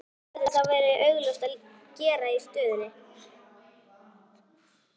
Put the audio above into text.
Hvað hefði þá verið augljósast að gera í stöðunni?